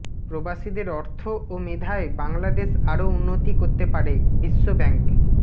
প্রবাসীদের অর্থ ও মেধায় বাংলাদেশ আরও উন্নতি করতে পারেঃ বিশ্বব্যাংক